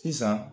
Sisan